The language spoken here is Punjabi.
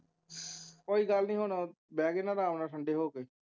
ਕੋਈ ਗੱਲ ਨੀ ਹੁਣ ਉਹ ਬਹਿਗੀ ਨਾ ਅਰਾਮ ਨਾਲ ਠੰਡੇ ਹੋ ਕੇ